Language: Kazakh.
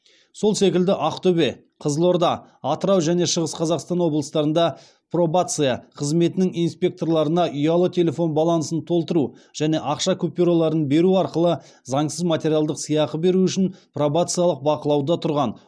сол секілді ақтөбе қызылорда атырау және шығыс қазақстан облыстарында пробация қызметінің инспекторларына ұялы телефон балансын толтыру және ақша купюраларын беру арқылы заңсыз материалдық сыйақы беру үшін пробациялық бақылауда тұрған